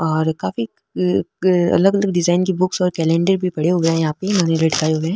और काफी अलग अलग डिजाइन के बुक्स और कैलेंडर भी पड़े हुए है यहाँ पे यानि लटकाए हुए।